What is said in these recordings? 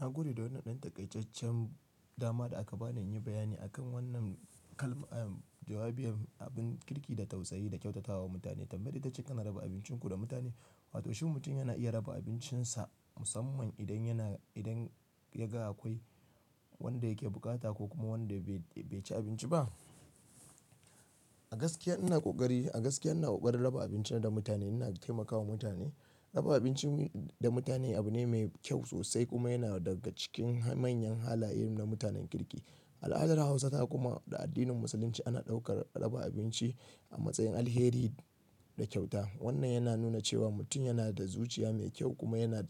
Na gode da wannan ɗan takaijecen dama da aka bani na yin bayani akan wannan kalma. Jawabi abin kirki da tausayi da kyautatawa mutane. Tambayi ita cewa kana raba abincin ku da mutane? Wato shin mutum yana iya raba abincinsa musamman idan yana, idan ya ga akwai wanda yake bukata ko kuma wanda bai ci abinci ba. A gaskiya ina ƙoƙari, a gaskiya ina ƙoƙarin raba abinci na da mutane. Ina taimakawa mutane. Raba abinci da mutane abu ne mai kyau sosai kuma yana daga cikin manyan halaye na mutanen kirki. Al'adar Hausa takuma da addinin Musulunci ana ɗaukar raba abinci a matsayin alheri da kyauta. Wannan yana nuna cewa mutum yana da zuciya mai kyau kuma yana,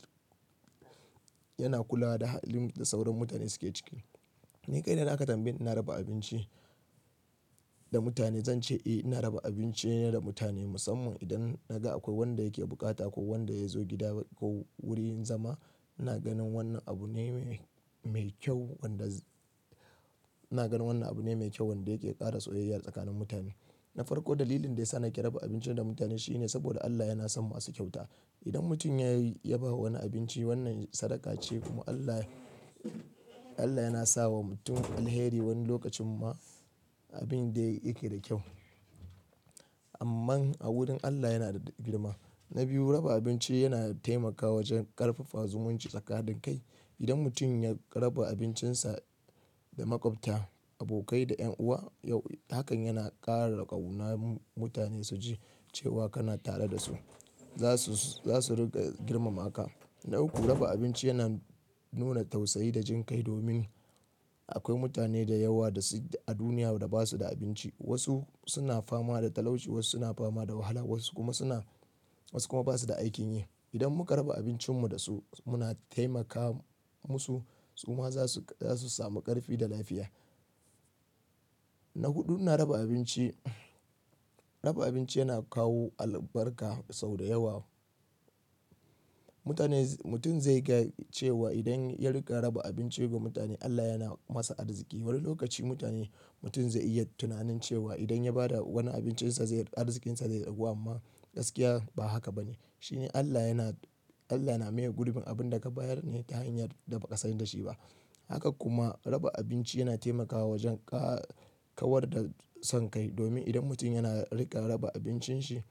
yana kula da halin da sauran mutane suke ciki. Ni kai na aka tambayi ina raba abinci da mutane, zan ce eh ina raba abinci da mutane musamman idan na ga akwai wanda yake bukata ko wanda ya zo gida ko wurin zama. Ina ganin wannan abu ne mai kyau wanda-- ina ganin wannan abu ne mai kyau wanda yake ƙara soyayya tsakanin mutane. Na farko dalilin da yasa na ƙi raba abinci da mutane shine saboda Allah yana son masu kyauta. Idan mutum ya yi, ya bawa wani abinci wannan sadaka ce kuma Allah, Allah yana sa wa mutum alheri. Wani lokacin ma abin da yake da kyau. Amma a wurin Allah yana da girma. Na biyu, raba abinci yana taimakawa wajen ƙarfafa zumunci tsakanin kai. Idan mutum ya raba abincinsa da maƙwabta, abokai da 'yan uwa, hakan yana ƙara kauna mutane su ji cewa kana tare da su. Za su, za su riƙa girmama ka. Na uku, raba abinci yana nuna tausayi da jin kai domin akwai mutane da yawa da su a duniya da ba su da abinci. Wasu suna fama da talauci, wasu suna fama da wahala, wasu kuma suna-- wasu kuma ba su da aikin yi. Idan muka raba abincin mu da su muna taimaka musu. Su ma za su, za su sami ƙarfi da lafiya. Na huɗu, ina raba abinci, raba abinci yana kawo albarka sau da yawa. Mutane-- mutum zai ga cewa idan ya riƙa raba abinci ga mutane Allah yana masa arziki. Wani lokaci mutane-- mutum zai iya tunanin cewa idan ya ba da wani abincinsa zai-- arzikinsa zai ragu amma gaskiya ba haka ba ne. Shi ne Allah yana, Allah na maye gurbin abin da ka bayar ne ta hanyar da ba ka san dashi ba. Haka kuma raba abinci yana taimakawa wajen kawar da son kai. Domin idan mutum yana riƙa raba abincin shi,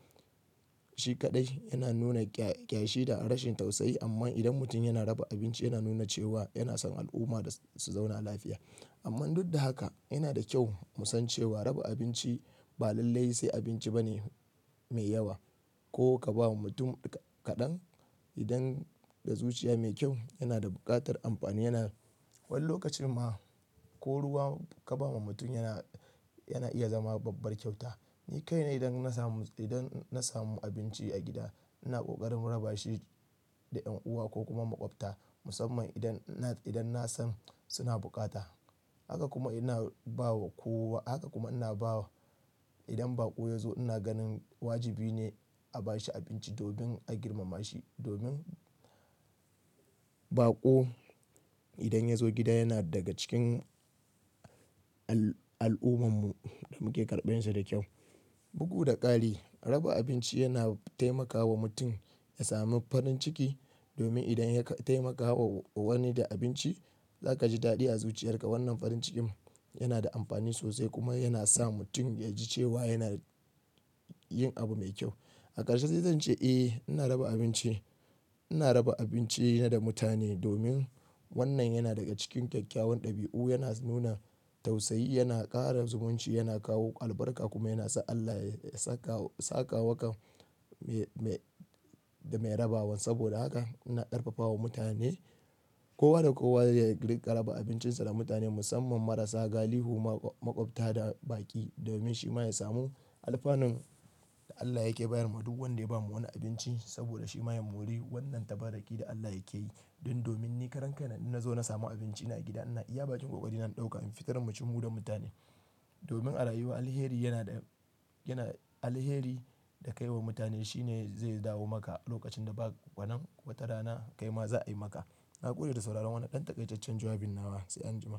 shi kaɗai yana nuna kyashi da rashin tausayi. Amma idan mutum yana raba abinci yana nuna cewa yana son al'umma su zauna lafiya. Amma duk da haka yana da kyau mu san cewa raba abinci ba lallai sai abinci ba ne mai yawa. Ko ka ba wa mutum kaɗan idan da zuciya mai kyau yana da buƙatar amfani. Yana-- wani lokacin ma ko ruwa ka ba wa mutum yana, yana iya zama babbar kyauta. Ni kai ne idan na samu, idan na samu abinci a gida ina ƙoƙarin raba shi da 'yan uwa ko kuma maƙwabta musamman idan, idan na san suna bukata. Haka kuma ina ba wa kowa. Haka kuma ina ba wa idan baƙo ya zo ina ganin wajibi ne a ba shi abinci domin a girmama shi. Domin baƙo idan ya zo gida yana daga cikin al'ummar mu da muke karɓarsa da kyau. Bugu da ƙari raba abinci yana taimakawa mutum ya sami farin ciki. Domin idan ya taimaka wa wani da abinci za ka ji daɗi a zuciyarka. Wannan farin cikin yana da amfani sosai kuma yana sa mutum ya ji cewa yana yin abu mai kyau. A ƙarshe sai zan ce eh ina raba abinci, ina raba abinci da mutane domin wannan yana daga cikin ƙyaƙƙyawan ɗabi'u, yana nuna tausayi, yana ƙara zumunci, yana kawo albarka kuma yana sa Allah ya saka, saka wakan mai, mai da mai rabawa. Saboda haka ina ƙarfafawa mutane kowa da kowa ya inka raba abincinsa da mutane musamman marasa, galihu, maƙwabta da baƙi domin shi ma ya samu alfanun da Allah yake bayar ma duk wanda ya ba wani abinci. Saboda shi ma ya mori wannan tabaraki da Allah yake yi. Don domin ni karan kai na nazo na samu abinci ina a gida ina iya ba cikin ƙoƙari ina ɗauka in fitar mu ci mu da mutane. Domin a rayuwa alheri yana da, yana alheri da kai wa mutane shi ne zai dawo maka a lokacin da ba wanan watara na kai ma za a yi maka. Na ƙure da sauraron wannan ɗan takaicijjen jawabin nawa sai an jima.